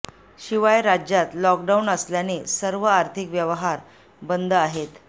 शिवाय राज्यात लॉकडाऊन असल्याने सर्व आर्थिक व्यवहार बंद आहेत